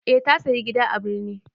Eh ta sayi gida a birni.